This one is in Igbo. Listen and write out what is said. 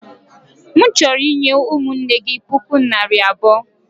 M chọrọ inye ụmụnne gị puku naira abụo.